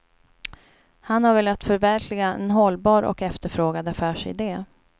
Han har velat förverkliga en hållbar och efterfrågad affärside.